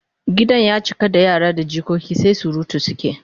Gidan ya cika da yara da jikoki sai surutu suke